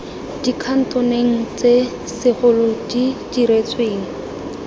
dikhatoneng tse segolo di diretsweng